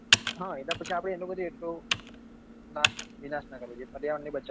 હા એના પછી આપડે એનો પછી એટલો નાશ વિનાશ નાં કરવો જોઈએ પર્યાવરણ ને બચાવવો